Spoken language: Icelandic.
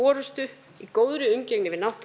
forystu í góðri umgengni við náttúruna